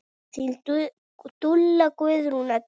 Þín dúlla, Guðrún Edda.